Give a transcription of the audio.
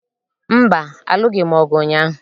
Mba, alụghị m ọgụ ụnyaahụ